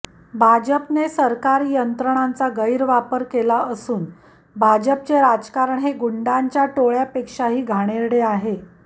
भाजपने सरकारी यंत्रणांचा गैरवापर केला असून भाजपचे राजकारण हे गुंडांच्या टोळ्यापेक्षाही घाणेरडे आहे